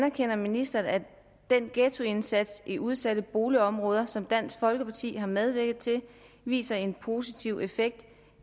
anerkender ministeren at den ghettoindsats i udsatte boligområder som dansk folkeparti har medvirket til viser en positiv effekt